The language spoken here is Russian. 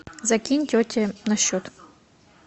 закинь тете на счет